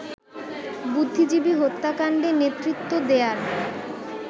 বুদ্ধিজীবী হত্যাকাণ্ডে নেতৃত্ব দেয়ার